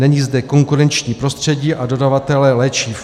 Není zde konkurenční prostředí a dodavatelé léčiv.